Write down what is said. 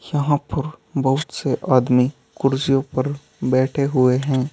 यहां पर बहुत से आदमी कुर्सियों पर बैठे हुए हैं।